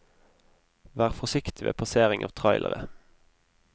Vær forsiktig ved passering av trailere.